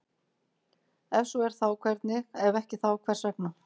Ef svo er þá hvernig, ef ekki þá hvers vegna?